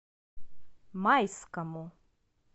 майскому